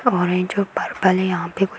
orange और purple है यहाँ पे कु --